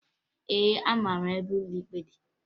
Ee, amara m ebe ụlọ ikpe dị